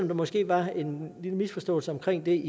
der måske var en lille misforståelse omkring det